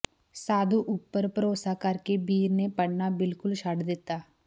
ਸਾਧੂ ਉੱਪਰ ਭਰੋਸਾ ਕਰਕੇ ਬੀਰ ਨੇ ਪੜ੍ਹਨਾ ਬਿਲਕੁਲ ਛੱਡ ਦਿੱਤਾ